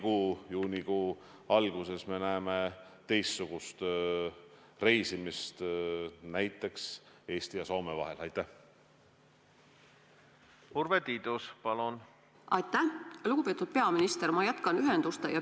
Kui te peate silmas, ma saan aru, riigijuhtide suhtlust, suhtlust Eesti ja Soome või Eesti ja Rootsi peaministri vahel, siis ma ütlen, et see on samuti väga tihe, väga hea.